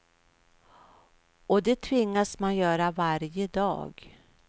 Och det tvingas man göra varje dag.